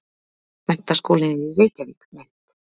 Menntaskólinn í Reykjavík- mynd.